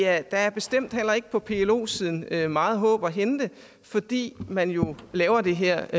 at der bestemt heller ikke på plo siden er meget håb at hente fordi man jo laver det her